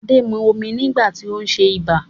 Adé mu omi nígbà tí ó ń ṣe ibà